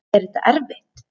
Er þetta erfitt?